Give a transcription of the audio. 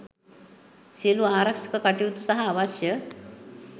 සියලු ආරක්‍ෂක කටයුතු සහ අවශ්‍ය